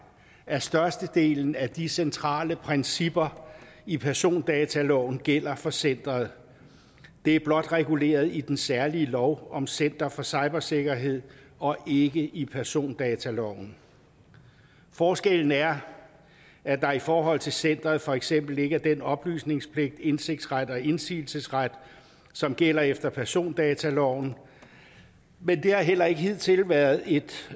at størstedelen af de centrale principper i persondataloven gælder for centeret det er blot reguleret i den særlige lov om center for cybersikkerhed og ikke i persondataloven forskellen er at der i forhold til centeret for eksempel ikke er den oplysningspligt indsigtsret og indsigelsesret som gælder efter persondataloven men det har heller ikke hidtil været et